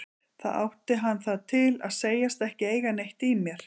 Þá átti hann það til að segjast ekki eiga neitt í mér.